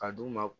A duguma